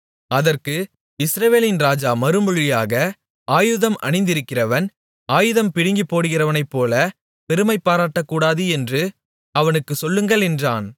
அதற்கு இஸ்ரவேலின் ராஜா மறுமொழியாக ஆயுதம் அணிந்திருக்கிறவன் ஆயுதம் பிடுங்கிப் போடுகிறவனைப்போலப் பெருமைபாராட்டக்கூடாது என்று அவனுக்குச் சொல்லுங்கள் என்றான்